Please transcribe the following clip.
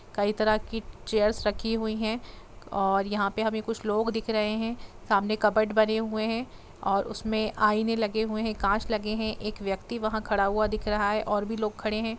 कई तरह की चेयर्स रखी हुई है और यहाँ पे हमे कुछ लोग दिख रहे है सामने कबट बने हुए है और उसमे आईने लगे हुए है कांच लगे है एक व्यक्ति वह खड़ा हुआ दिखा रहा है और भी लोग खड़े है।